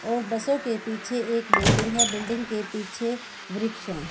और बसों के पीछे एक बिल्डिंग है बिल्डिंग के पीछे वृक्ष हैं।